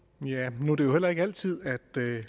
det